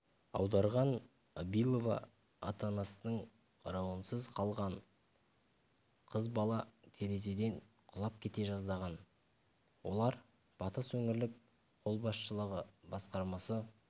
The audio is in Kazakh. аударған абилова ата-анасының қарауынсыз қалған қыз бала терезеден құлап кете жаздаған олар батыс өңірлік қолбасшылығы басқармасы